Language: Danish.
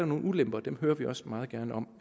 nogle ulemper og dem hører vi også meget gerne om